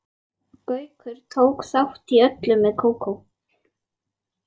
Gaukur tók þátt í öllu með Kókó.